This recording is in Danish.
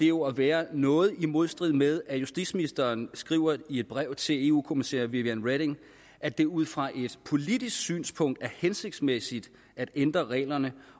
jo at være noget i modstrid med det som justitsministeren skriver i et brev til eu kommissær viviane reding at det ud fra et politisk synspunkt er hensigtsmæssigt at ændre reglerne